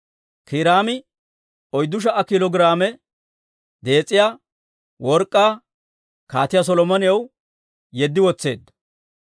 Kiiraami oyddu sha"a kiilo giraame dees'iyaa work'k'aa Kaatiyaa Solomonaw yeddi wotseedda.